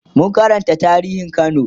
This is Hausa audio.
mun Karanta tarihin kano